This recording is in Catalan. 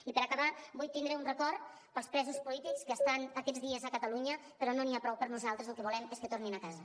i per acabar vull tindre un record pels presos polítics que estan aquests dies a catalunya però no n’hi ha prou per nosaltres el que volem és que tornin a casa